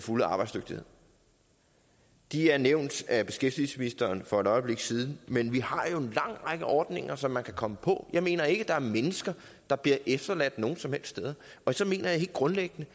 fulde arbejdsdygtighed de er nævnt af beskæftigelsesministeren for et øjeblik siden men vi har jo en lang række ordninger som man kan komme på jeg mener ikke der er mennesker der bliver efterladt nogen som helst steder så mener jeg helt grundlæggende